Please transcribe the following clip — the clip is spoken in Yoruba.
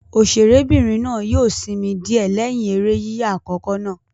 Òṣèré'bìnrin náà yóò sinmi díẹ̀ lẹ́yìn eré yíyà àkọ́kọ́ náà.